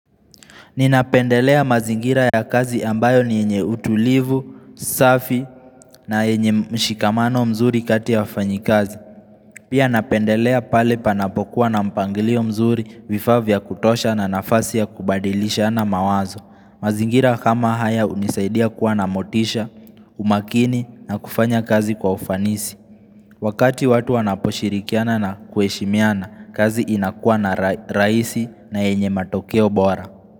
Ninapendelea mazingira ya kazi ambayo ni yenye utulivu, safi na enye mshikamano mzuri kati ya wafanyi kazi. Pia napendelea pale panapokuwa na mpangilio mzuri vifavya kutosha na nafasi ya kubadilisha na mawazo mazingira kama haya unisaidia kuwa na motisha, umakini na kufanya kazi kwa ufanisi. Wakati watu wanaposhirikiana na kueshimiana kazi inakuwa na raisi na enye matokeo bora.